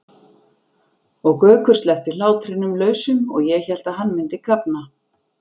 og Gaukur sleppti hlátrinum lausum og ég hélt að hann myndi kafna.